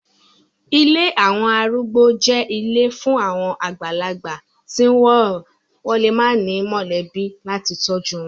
Ilé àwọn arúgbó jẹ́ ilé fún àwọn àgbàlagbà tí wọ́n lè má ní mọ̀lẹ́bí láti tọ́jú wọn.